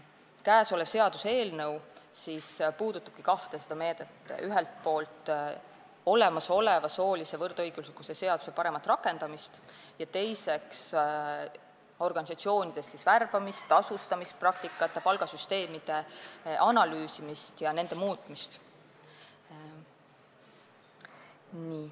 Käesolev seaduseelnõu puudutabki kahte meedet: ühelt poolt olemasoleva soolise võrdõiguslikkuse seaduse paremat rakendamist ning teiseks organisatsioonides värbamis- ja tasustamispraktikate ja palgasüsteemide analüüsimist ja nende muutmist.